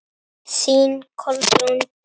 Þín Kolbrún Dögg.